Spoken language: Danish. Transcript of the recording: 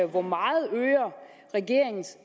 hvor meget regeringens